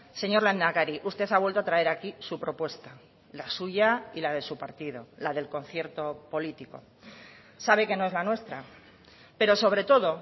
señor lehendakari usted ha vuelto a traer aquí su propuesta la suya y la de su partido la del concierto político sabe que no es la nuestra pero sobre todo